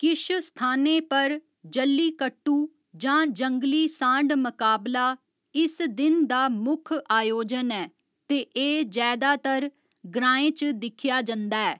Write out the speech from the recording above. किश स्थानें पर, जल्लीकट्टू, जां जंगली सांढ मकाबला, इस दिन दा मुक्ख आयोजन ऐ ते एह् जैदातर ग्रांएं च दिक्खेआ जंदा ऐ।